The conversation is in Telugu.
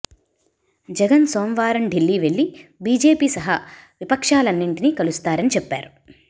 జగన్ సోమవారం ఢిల్లీ వెళ్లి బిజెపి సహా విపక్షాలన్నింటినీ కలుస్తారని చెప్పారు